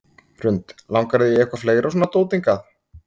Hrund: Langar þig í eitthvað fleira svona dót hingað?